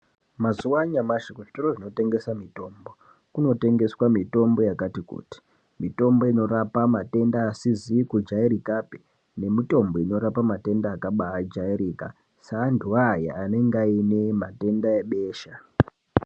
Mazuwa anyamashi kuzvitoro zvinotengesa mitombo, kunotengeswa mitombo yakati kuti ,mitombo inorapa matenda asizi kujairikapi nemitombo inorapa matenda akabaajairika, seantu aya anenga aine matenda ebesha.